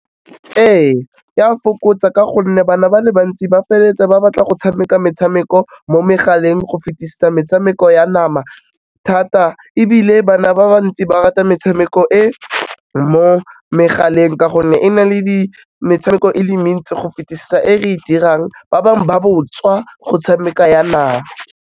Ee, ya fokotsa ka gonne bana ba le bantsi ba feleletse ba batla go tshameka metshameko mo megaleng, go fetisa metshameko ya nama thata, ebile bana ba ba ntsi ba rata metshameko e mo megaleng ka gonne e na le metshameko e le mentsi go fetisa e re e dirang, ba bangwe ba botswa go tshameka ya nama.